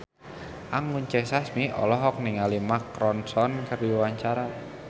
Anggun C. Sasmi olohok ningali Mark Ronson keur diwawancara